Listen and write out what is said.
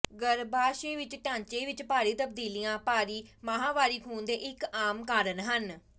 ਗਰੱਭਾਸ਼ਯ ਵਿੱਚ ਢਾਂਚੇ ਵਿੱਚ ਭਾਰੀ ਤਬਦੀਲੀਆਂ ਭਾਰੀ ਮਾਹਵਾਰੀ ਖੂਨ ਦੇ ਇੱਕ ਆਮ ਕਾਰਨ ਹਨ